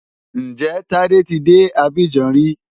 Ǹjẹ́ Tádé ti dé Abidjan rí?